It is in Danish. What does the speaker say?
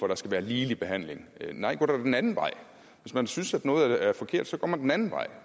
der skal være ligelig behandling nej gå dog den anden vej hvis man synes at noget er forkert så går man den anden vej